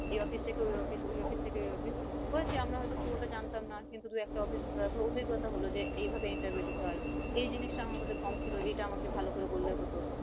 এই office থেকে office ওই office থেকে ওই office হয়েছে আমরা হয়তো পুরোটা জানতাম না কিন্তু দু একটা office ঘুরার পরে অভিজ্ঞতা হল যে এইভাবে interview দিতে হয় এই জিনিষ টা আমার মধ্যে কম ছিল, এইটা আমাকে ভাল করে বললে হতো